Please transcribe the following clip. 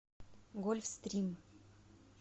гольфстрим